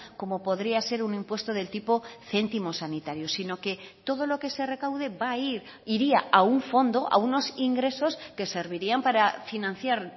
como podría ser un impuesto del tipo céntimo sanitario sino que todo lo que se recaude va a ir iría a un fondo a unos ingresos que servirían para financiar